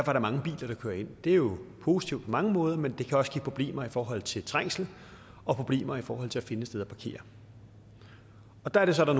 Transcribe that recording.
er der mange biler der kører ind det er jo positivt på mange måder men det kan også give problemer i forhold til trængsel og problemer i forhold til at finde et sted at parkere der er det så at der